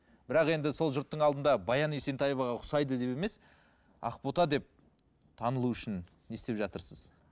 бірақ енді сол жұрттың алдында баян есентаеваға ұқсайды деп емес ақбота деп танылу үшін не істеп жатырсыз